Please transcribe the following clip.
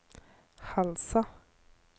Halsa